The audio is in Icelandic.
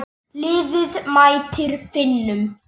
Liðið mætir Finnum.